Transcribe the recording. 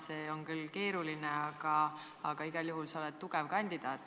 See on küll keeruline töö, aga igal juhul sa oled tugev kandidaat.